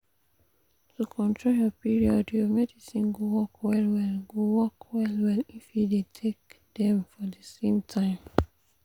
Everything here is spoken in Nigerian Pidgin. to control your period your medicines go work well-well go work well-well if you dey take dem for the same time.